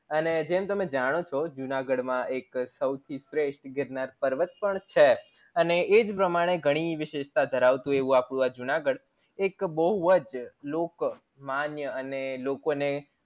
અને જેમ તમે જાણો છો જુનાગઢ માં એક સૌથી સ્વેષ્ઠ ગીરનાર પર્વત પણ છે અને એજ પ્રમાણે ઘણી વિશેષતા ધરાવતું અપ્ડું એવું જુનાગઢ એક બૌજ લોક માન્ય અને લોકો ને